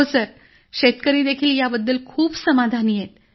हो सर शेतकरीदेखील याबद्दल खूप समाधानी आहेत